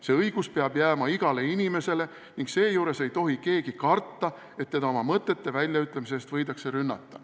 See õigus peab jääma igale inimesele ning seejuures ei tohi keegi karta, et teda tema mõtete väljaütlemise eest võidakse rünnata.